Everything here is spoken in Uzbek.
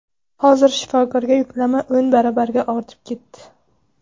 Hozir shifokorga yuklama o‘n baravarga ortib ketdi.